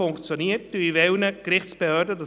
Somit wünsche ich Ihnen einen schönen Abend.